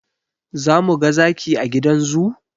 Za mu ga zaki a gidan zoo?